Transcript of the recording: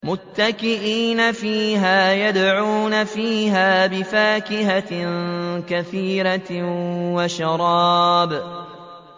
مُتَّكِئِينَ فِيهَا يَدْعُونَ فِيهَا بِفَاكِهَةٍ كَثِيرَةٍ وَشَرَابٍ